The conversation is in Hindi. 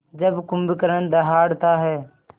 जब कुंभकर्ण दहाड़ता है